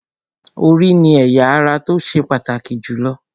Orí ni ẹ̀ya ara tó ṣe pàtàkì jù lọ